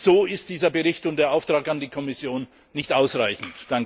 So sind dieser Bericht und der Auftrag an die Kommission nicht ausreichend.